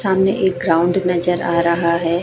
सामने एक ग्राउंड नजर आ रहा है।